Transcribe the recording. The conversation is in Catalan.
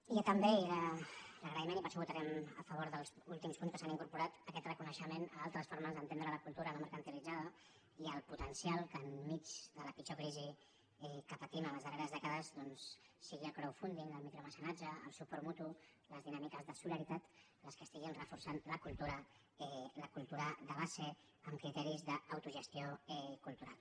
i també i l’agraïment i per això votarem a favor dels últims punts que s’han incorporat aquest reconeixement a altres formes d’entendre la cultura no mercantilitzada i el potencial que enmig de la pitjor crisi que patim en les darreres dècades doncs siguin el crowdfunding el micromecenatge el suport mutu les dinàmiques de solidaritat les que estiguin reforçant la cultura la cultura de base amb criteris d’autogestió cultural